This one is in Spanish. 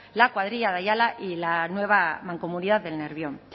la cuadrilla de ayala y la nueva mancomunidad del nervión